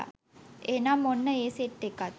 එහෙනම් ඔන්න ඒ සෙට් එකත්